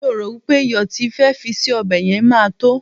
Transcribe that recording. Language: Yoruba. mi o ro pe iyo ti ì fe fi sí obe yen ma to